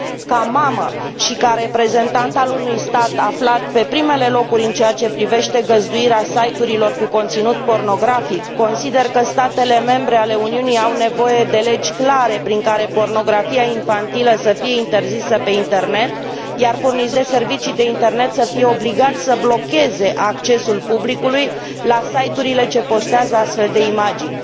Ca mamă și ca reprezentant al unui stat aflat pe primele locuri în ceea ce privește găzduirea site urilor cu conținut pornografic, consider că statele membre ale Uniunii au nevoie de legi clare prin care pornografia infantilă să fie interzisă pe internet, iar furnizorii de servicii de internet să fie obligați să blocheze accesul publicului la site urile ce postează astfel de imagini.